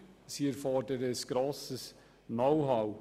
Sie erfordern ein grosses Know-how.